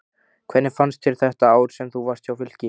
Hvernig fannst þér þetta ár sem þú varst hjá Fylki?